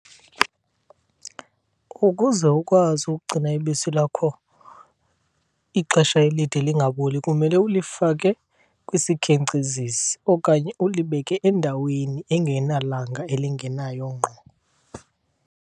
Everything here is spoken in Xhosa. Ukuze ukwazi ukugcina ibisi lakho ixesha elide lingaboli kumele ulifake kwisikhenkcezisi okanye ulibeke endaweni engenalanga elingenayo ngqo.